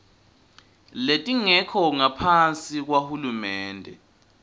letingekho ngaphasi kwahulumende